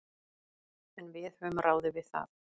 En við höfum ráðið við það.